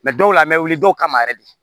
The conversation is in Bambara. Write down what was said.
dɔw la an bɛ wuli dɔw kama yɛrɛ de